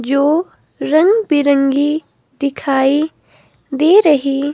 जो रंग बिरंगी दिखाई दे रही।